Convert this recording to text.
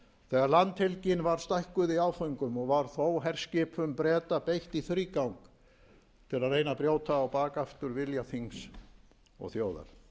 þegar landhelgin var stækkuð í áföngum og var þó herskipum breta beitt í þrígang til að reyna að brjóta á bak aftur vilja þings og þjóðar